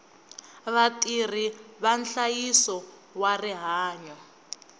vatirhi va nhlayiso wa rihanyo